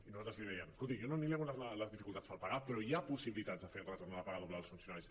i nosaltres li dèiem escolti jo no li nego les dificultats per pagar però hi ha possibilitats de fer el retorn de la paga doble dels funcionaris